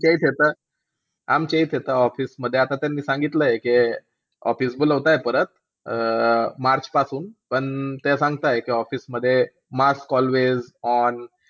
आमच्या इथे तर आमच्या इथे तर office मध्ये मी सांगितलंय की OFFICE बोलवतायत परत अं मार्च पासून. तेव्हा सांगतायत की पण office मध्ये mask alway on.